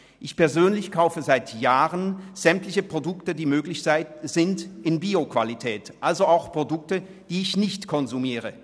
Ich persönlich kaufe seit Jahren sämtliche Produkte, bei denen dies möglich ist, in Bio-Qualität, also auch Produkte, die ich nicht konsumiere.